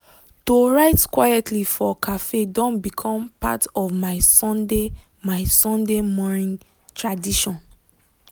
to write quitely for cafe don become part of my sunday my sunday morining tradition.